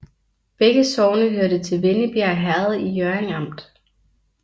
Begge sogne hørte til Vennebjerg Herred i Hjørring Amt